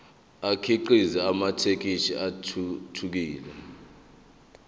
akhiqize amathekisthi athuthukile